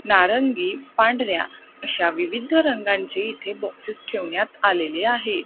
नारंगी पांढऱ्या अशा विविध रंगांची इथे बॉक्सेस ठेवण्यात आलेले आहे.